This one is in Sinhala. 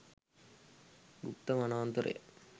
ගුප්ත වනාන්තරය